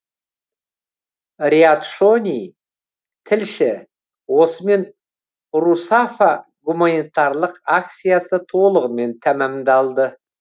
риат шони тілші осымен русафа гуманитарлық акциясы толығымен тәмамдалды